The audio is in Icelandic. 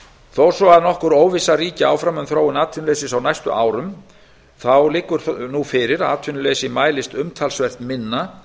þó að nokkur óvissa ríki áfram um þróun atvinnuleysis á næstu árum liggur nú fyrir að atvinnuleysi mælist umtalsvert minna